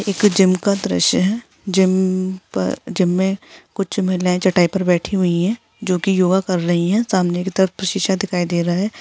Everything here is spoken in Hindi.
एक जिम का दृश्य है जिम में कुछ महिलाएं चटाई पर बैठी हुई है चटाई जो की योगा कर रही है सामने की तरफ शीशा दिखाई दे रहा है।